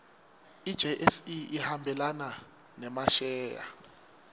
ijse ihambelana nemasheya